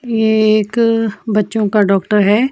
ये एक बच्चों का डॉक्टर है.